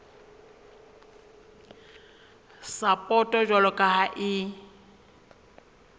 sapoto jwalo ka ha e